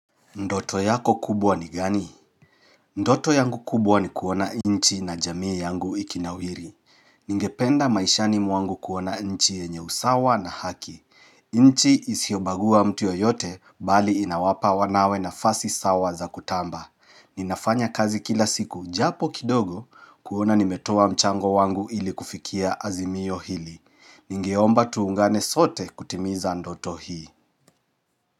Ndoto yako kubwa ni gani ndoto yangu kubwa ni kuona inchi na jamii yangu ikinawihiri ningependa maishani mwangu kuona inchi yenye usawa na haki inchi isiobagua mtu yoyote bali inawapa wanawe na fasi sawa za kutamba ninafanya kazi kila siku japo kidogo kuona nimetowa mchango wangu ili kufikia azimiyo hili ningeomba tuungane sote kutimiza ndoto hii.